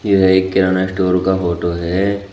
यह एक किराना स्टोर का फोटो है।